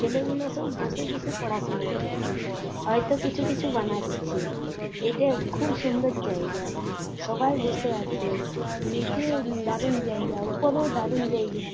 ছেলেগুলো সব বসে বসে পড়াশুনা করছে হয়তো কিছু কিছু বানাচ্ছে এটা খুব সুন্দর জায়গা সবাই বসে আছে নিচে দারুণ জায়গা ওপরেও দারুন জায়গা।